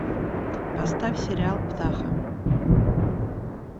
поставь сериал птаха